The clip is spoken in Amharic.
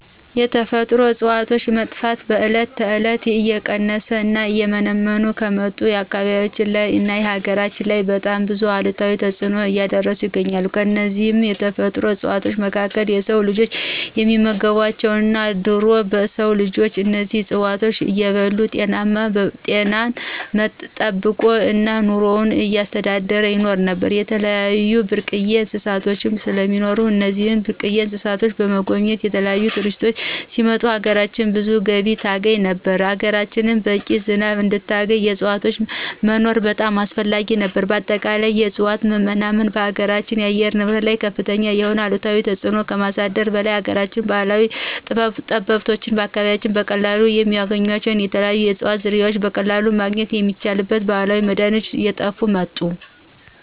የተፈጥሮ እፅዋቶች መጥፋት በዕለት ተዕለት እየቀነሱ እና እየመነመኑ ከመጡ አካባቢያችን ላይ እና ሀገራችን ላይ በጣም ብዙ አሉታዊ ተፅኖ እያሳደሩ ይገኛሉ። ከነዚህም የተፈጥሮ እፅዋቶች መካከል የስው ልጅ የሚመገባቸው አሉ እና ድሮ የስው ልጅ እነዚህን እፅዋቶች እየበላ ጤናውን ጠበቆ እና ኑሮውን እያስተዳደረ ይኖር ነበር። የተለያዩ ብርቅየ እንስሳቶች ስለሚኖሩ እነዚህን ብርቅየ እንስሳቶችን ለመጎብኘት የተለያዪ ቱሪስቶች ሲመጡ ሀገራችን ብዙ ገቢ ታስገኝ ነበር፣ ሀገራችን በቂ ዝናብ እንድታገኝ የዕፅዋቶች መኖር በጣም አስፈላጊ ነበር። በአጠቃላይ የእፅዋት መናመን በሀገራችን አየር ንብረት ላይ ከፍተኛ የሆነ አሉታዊ ተፅኖ ከማሳደሩ በላይ የሀገራችን ባህላዊ ጥበበኞች በአካባቢያችን በቀላሉ የሚያገኟቸው የተለያዩ የእፅዋት ዝርያዎች በቀለሉ ማግኝት የሚችሏቸውን ባህላዊ መድሀኒቶች እየጥፉ መጡ።